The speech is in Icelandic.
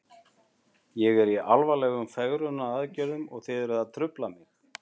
Ég er í alvarlegum fegrunaraðgerðum og þið eruð að trufla mig.